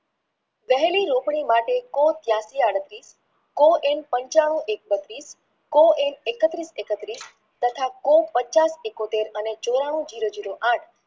વહેલી કો ત્યાસી આડત્રીશ કો એમ બત્રીશ કો એમ એકત્રીસેકટરિશ તથા કો એકોતેર અને ચોરાણું જીરો જીરો આઠ